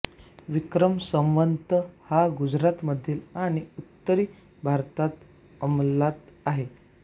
विक्रम संवत हा गुजराथमध्ये आणि उत्तरी भारतात अंमलात आहे